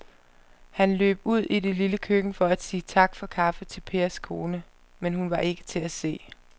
Han løb ud i det lille køkken for at sige tak for kaffe til Pers kone, men hun var ikke til at se.